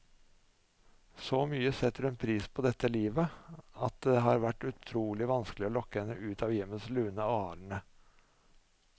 Så mye setter hun pris på dette livet, at det har vært utrolig vanskelig å lokke henne ut av hjemmets lune arne.